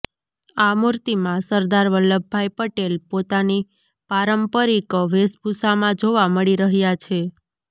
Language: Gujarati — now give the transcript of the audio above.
આ મૂર્તિમાં સરદાર વલ્લભ ભાઇ પટેલ પોતાની પારંપરિક વેશભૂષામાં જોવા મળી રહ્યાં છે